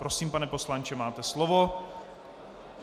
Prosím, pane poslanče, máte slovo.